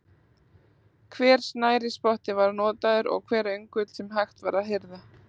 Hver snærisspotti var notaður og hver öngull sem hægt var að hirða.